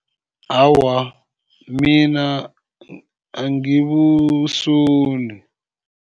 Awa, mina angibusoli.